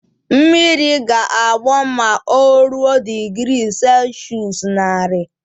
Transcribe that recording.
Mmiri ga-agbọ ma o ruo digri selshụs naari